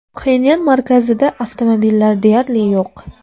Pxenyan markazida avtomobillar deyarli yo‘q.